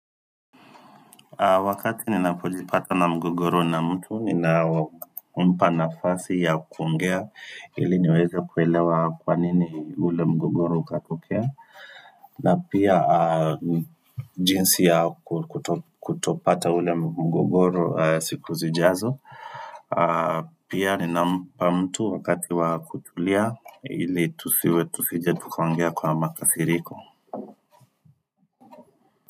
Wakati ninapojipata na mgogoro na mtu, ninampa nafasi ya kuongea ili niweze kuelewa kwa nini ule mgogoro ukatokea. Na pia jinsi ya kutopata ule mgogoro siku zijazo. Pia ninampa mtu wakati wa kutulia ili tusiwe tusije tukaongea kwa makasiriko.